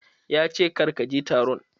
Ya ce "Kar ka je taron"!